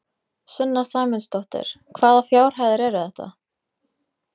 Sunna Sæmundsdóttir: Hvaða fjárhæðir eru þetta?